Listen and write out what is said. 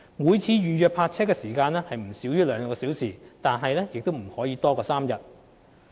每次預約泊車時間須不少於兩小時，但不可超過3天。